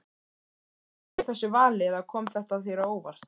Bjóstu við þessu vali eða kom þetta þér á óvart?